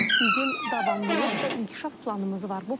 Bizim davamlılıq və inkişaf planımız var.